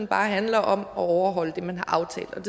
bare handler om at overholde det man har aftalt